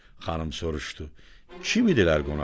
Xanım soruşdu: Kim idilər qonaqlar?